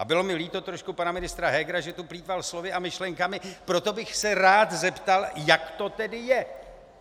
A bylo mi líto trošku pana ministra Hegera, že tu plýtval slovy a myšlenkami, proto bych se rád zeptal, jak to tedy je.